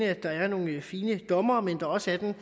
at der er nogle fine dommere men også at der